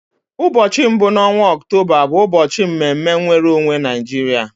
Ụbọchị mbụ n'ọnwa Ọktoba bụ ụbọchị mme mme nwere onwe Naijiria.